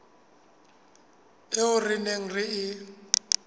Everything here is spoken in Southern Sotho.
eo re neng re e